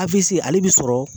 ale bi sɔrɔ